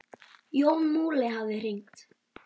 Jón Múli hafði hringt.